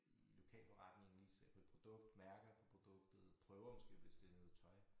I lokalforretningen lige ser på et produkt mærker på produktet prøver måske hvis det noget tøj